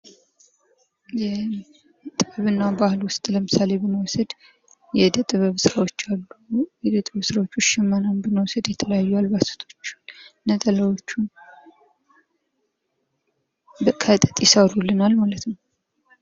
ጥበብና ባህል ውስጥ ለምሳሌ ብንወስድ የእደጥበብ ስራዎችን ውስጥ ሽመናን የተለያዩ አልባሳቶች ነጠላዎችን ከጥጥ ይሠሩልናል ማለት ነው።